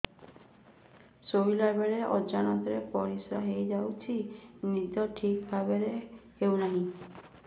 ଶୋଇଲା ବେଳେ ଅଜାଣତରେ ପରିସ୍ରା ହୋଇଯାଉଛି ନିଦ ଠିକ ଭାବରେ ହେଉ ନାହିଁ